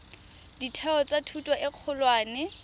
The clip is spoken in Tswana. ditheo tsa thuto e kgolwane